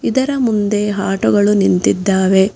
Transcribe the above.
ಇದರ ಮುಂದೆ ಆಟೋ ಗಳು ನಿಂತಿದ್ದಾವೆ.